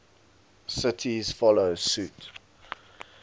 cities follow suit